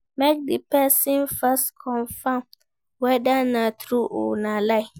Make di persin first confirm whether na true or na lie